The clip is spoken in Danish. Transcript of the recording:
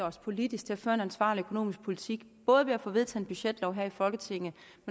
os politisk til at føre en ansvarlig økonomisk politik både ved at få vedtaget en budgetlov her i folketinget